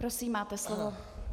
Prosím, máte slovo.